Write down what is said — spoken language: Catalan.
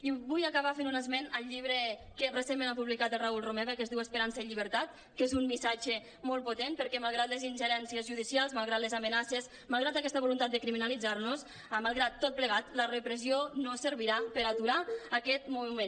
i vull acabar fent un esment del llibre que recentment ha publicat el raül rome·va que es diu esperança i llibertat que és un missatge molt potent perquè malgrat les ingerències judicials malgrat les amenaces malgrat aquesta voluntat de crimi·nalitzar·nos malgrat tot plegat la repressió no servirà per aturar aquest moviment